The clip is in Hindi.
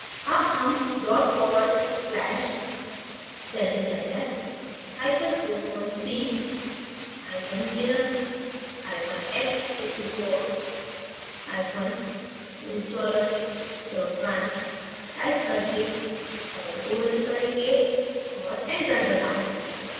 अब हम dot forward slash celldesigner hyphen 43 hyphen linux hyphen x64 hyphen installer run type करके फ़ाइल को now करेंगे और enter दबायें